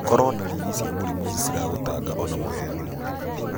Koro ndariri cia mũrimũ nĩ ciragũtanga ona mũheani wa ũrigiti.